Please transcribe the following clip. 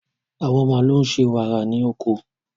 àwọn màlúù ṣe wàrà wàrà ní oko.